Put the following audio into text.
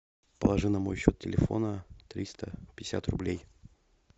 положи на мой счет телефона триста пятьдесят рублей